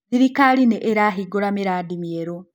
Thirikari nĩirahingũra mĩrandi mĩerũ